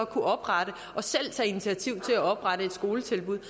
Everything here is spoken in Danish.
kunne oprette og selv tage initiativ til at oprette et skoletilbud